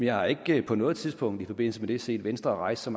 jeg har ikke på noget tidspunkt i forbindelse med det set venstre hejse